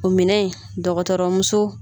O minɛ in dɔgɔtɔrɔmuso.